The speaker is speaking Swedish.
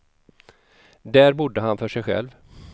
Där bodde han för sig själv.